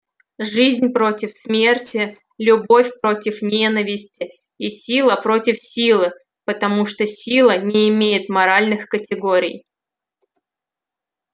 жизнь против смерти любовь против ненависти и сила против силы потому что сила не имеет моральных категорий